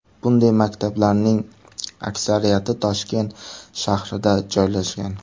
Bunday maktablarning aksariyati Toshkent shahrida joylashgan.